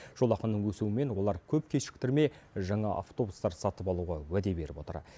жолақының өсуімен олар көп кешіктірмей жаңа автобустар сатып алуға уәде беріп отыр